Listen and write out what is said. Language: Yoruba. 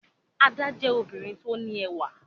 Ada jẹ obirin ti o ni ẹwà